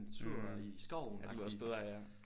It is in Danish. Mh det lyder også bedre ja